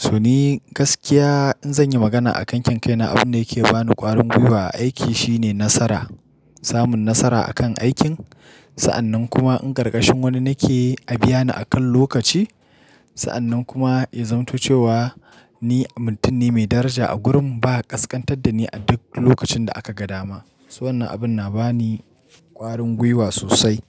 To ni gaskiya in zanyi magana a kan kyanƙyana, abun da yake bani ƙwarin gwiwa a aiki shine nasara. Samun nasara a kan aikin. Sa'annan kuma in ƙarƙashin wani nake, a biya ni akan lokaci. Sa'annan kuma ya zamato cewa ni mutum ne mai daraja a gurin. Ba ƙasƙantar da ni a duk lokacin da aka ga dama. Wannan abun na ba ni ƙwarin gwiwa sosai.